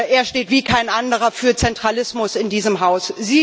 Er steht wie kein anderer für Zentralismus in diesem Haus.